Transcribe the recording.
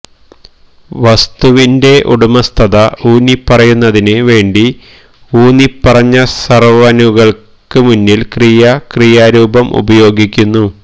വസ്തുവിന്റെ ഉടമസ്ഥത ഊന്നിപ്പറയുന്നതിന് വേണ്ടി ഊന്നിപ്പറഞ്ഞ സർവ്വനുകൾക്ക് മുന്നിൽ ക്രിയ ക്രിയാരൂപം ഉപയോഗിക്കുന്നു